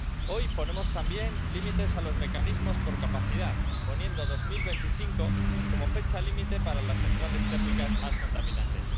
Hoy ponemos también límites a los mecanismos por capacidad —poniendo 2025 como fecha límite para las centrales térmicas más contaminantes—.